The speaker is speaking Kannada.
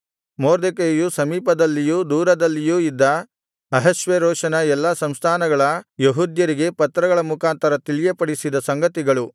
ಮೊರ್ದಕೈಯು ಸಮೀಪದಲ್ಲಿಯೂ ದೂರದಲ್ಲಿಯೂ ಇದ್ದ ಅಹಷ್ವೇರೋಷನ ಎಲ್ಲಾ ಸಂಸ್ಥಾನಗಳ ಯೆಹೂದ್ಯರಿಗೆ ಪತ್ರಗಳ ಮುಖಾಂತರ ತಿಳಿಯಪಡಿಸಿದ ಸಂಗತಿಗಳು